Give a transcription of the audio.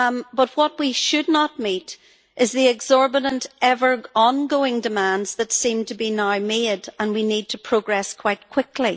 But what we should not meet is the exorbitant, ever ongoing demands that seem to be now made, and we need to progress quite quickly.